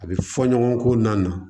A bɛ fɔ ɲɔgɔn ko na